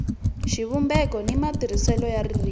xivumbeko ni matirhisele ya ririmi